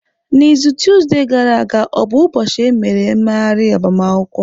N'izu tuzdee gara aga o bụ ụbọchị emere mmeghari agbamakwụkwọ?